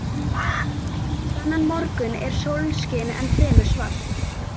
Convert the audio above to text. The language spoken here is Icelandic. Þennan morgun er sólskin en fremur svalt.